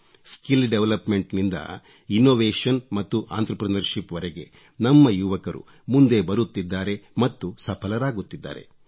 skill development ನಿಂದ innovation ಮತ್ತು entrepreneurship ವರೆಗೆ ನಮ್ಮ ಯುವಕರು ಮುಂದೆ ಬರುತ್ತಿದ್ದಾರೆ ಮತ್ತು ಸಫಲರಾಗುತ್ತಿದ್ದಾರೆ